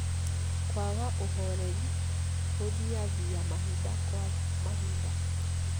kwaga ũhoreri, gũthiathia mahinda kwa mahinda